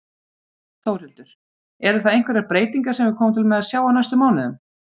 Þórhildur: Eru það einhverjar breytingar sem við komum til með að sjá á næstu mánuðum?